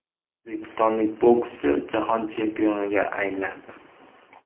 O‘zbekistonlik bokschi jahon chempioniga aylandi.